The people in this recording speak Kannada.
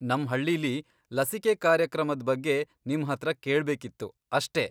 ನಮ್ ಹಳ್ಳೀಲಿ ಲಸಿಕೆ ಕಾರ್ಯಕ್ರಮದ್ ಬಗ್ಗೆ ನಿಮ್ಹತ್ರ ಕೇಳ್ಬೇಕಿತ್ತು ಅಷ್ಟೇ.